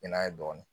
Bɛn'a ye dɔɔnin